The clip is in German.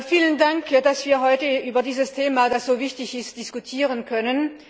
Vielen Dank, dass wir heute über dieses Thema, das so wichtig ist, diskutieren können.